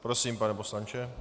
Prosím, pane poslanče.